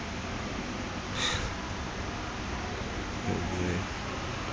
o o ka fa tlase